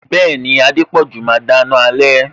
Bẹẹni, Adepoju máa dáná alẹ